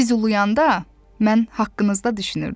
Siz uluyanda, mən haqqınızda düşünürdüm.